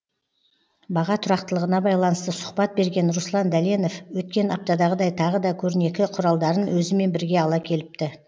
баға тұрақтылығына байланысты сұхбат берген руслан дәленов өткен аптадағыдай тағы да көрнекі құралдарын өзімен бірге ала келіпті